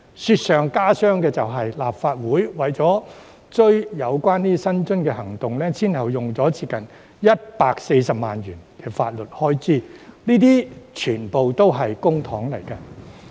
雪上加霜的是，立法會為了追回有關薪津的行動，前後便花了接近140萬元法律開支，這些全部也是公帑。